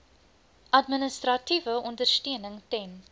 administratiewe ondersteuning ten